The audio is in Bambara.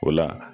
O la